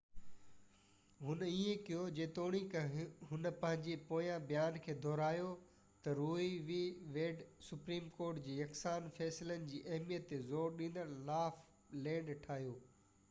هن ائين ڪيو جيتوڻيڪ هن پنهنجي پوئين بيان کي دهرايو ته Roe v Wade Supreme Court جي يڪسان فيصلن جي اهميت تي زور ڏيندڙ لا آف لينڊ ٺاهيو